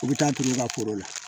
U bɛ taa tugu u ka foro la